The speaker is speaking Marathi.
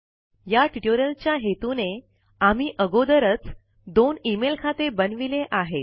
या ट्युटोरियल च्या हेतूने आम्ही अगोदरच दोन इमेल खाते बनविले आहेत